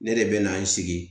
Ne de bɛ na n sigi